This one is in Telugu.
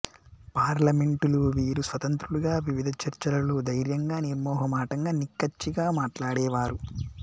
పార్లమెంటులో వీరు స్వతంత్రులుగా వివిధ చర్చలలో దైర్యంగా నిర్మొహమాటంగా నిక్కచ్చిగా మాట్లాడేవారు